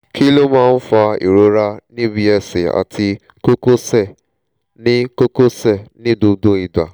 kí ló máa ń fa ìrora níbi ẹsẹ̀ àti kókósẹ̀ ní kókósẹ̀ ní gbogbo ìgbà